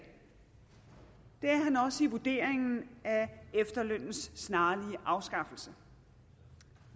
er han også i vurderingen af efterlønnens snarlige afskaffelse